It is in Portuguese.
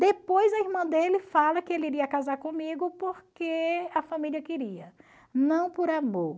Depois a irmã dele fala que ele iria casar comigo porque a família queria, não por amor.